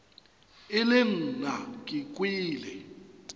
e le nna ke kwele